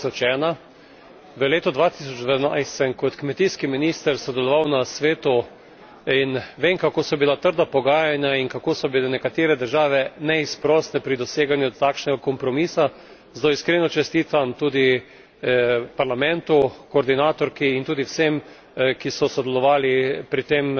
2001. V letu 2012 sem kot kmetijski minister sodeloval na Svetu in vem, kako so bila trda pogajanja in kako so bile nekatere države neizprosne pri doseganju takšnega kompromisa, zato iskreno čestitam tudi Parlamentu, koordinatorki in tudi vsem, ki so sodelovali pri tem